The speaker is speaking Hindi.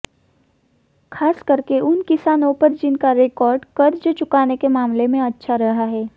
खास करके उन किसानों पर जिनका रिकार्ड कर्ज चुकाने के मामले में अच्छा रहा है